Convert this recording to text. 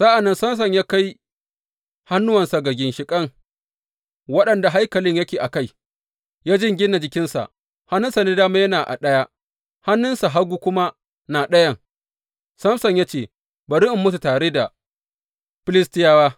Sa’an nan Samson ya kai hannuwansa ga ginshiƙan waɗanda haikalin yake a kai, ya jingina jikinsa, hannunsa dama yana a ɗaya, hannun hagu kuma na ɗayan, Samson ya ce, Bari in mutu tare da Filistiyawa!